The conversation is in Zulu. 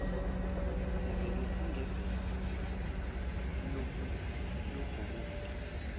sivele sigibele siyobhukuda